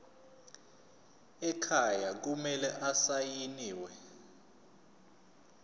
ekhaya kumele asayiniwe